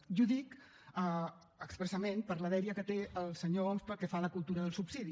i ho dic expressament per la dèria que té el senyor homs pel que fa a la cultura del subsidi